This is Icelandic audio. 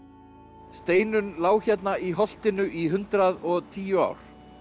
Steinunn lá hérna í holtinu í hundrað og tíu ár